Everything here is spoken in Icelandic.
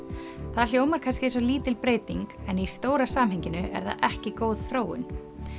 það hljómar kannski eins og lítil breyting en í stóra samhenginu er það ekki góð þróun